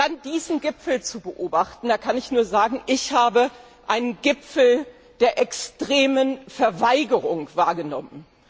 Dann diesen Gipfel zu beobachten da kann ich nur sagen Ich habe einen Gipfel der extremen Verweigerung wahrgenommen.